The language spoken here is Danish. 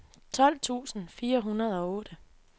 tolv tusind fire hundrede og otte